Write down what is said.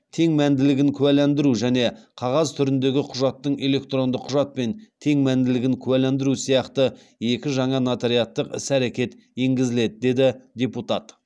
тең мәнділігін куәландыру және қағаз түріндегі құжаттың электронды құжатпен тең мәнділігін куәландыру сияқты екі жаңа нотариаттық іс әрекет енгізіледі деді депутат